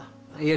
ég